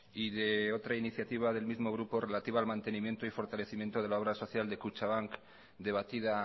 y de otra iniciativa del mismo grupo relativa al mantenimiento y fortalecimiento de la obra social de kutxabank debatida